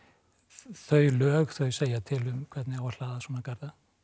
þau lög þau segja til um hvernig á að hlaða svona garða